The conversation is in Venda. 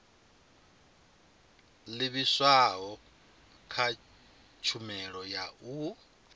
livhiswaho kha tshumelo ya u